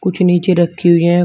कुछ नीचे रखी हुई हैं।